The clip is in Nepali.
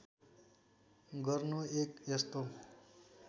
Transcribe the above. गर्नु एक यस्तो